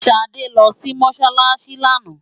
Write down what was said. Ṣadé lọ sí Mọ́ṣáláṣí lánàá.